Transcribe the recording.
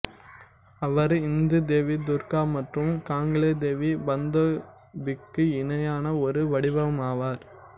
அவர் இந்து தேவி துர்கா மற்றும் கங்லே தேவி பந்தோய்பிக்கு இணையான ஒரு வடிவமாவார்